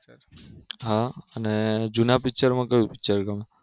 હા અને જુના Picture માં કયું Picture ગમે